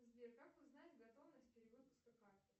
сбер как узнать готовность перевыпуска карты